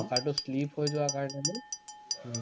চকাটো slip হৈ যোৱা কাৰণে মানে উম